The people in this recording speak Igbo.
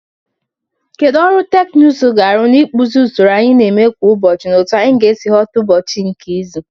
Kedu ọrụ teknụzụ ga-arụ n'ịkpụzi usoro anyị na-eme kwa ụbọchị na otu anyị si aghọta ụbọchị nke izu?